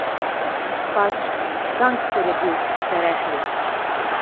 Pač, gangster je bil, ste rekli.